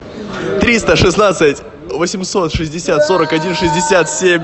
триста шестнадцать восемьсот шестьдесят сорок один шестьдесят семь